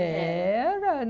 Era.